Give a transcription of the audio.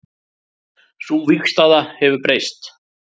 Sú vígstaða hefur breyst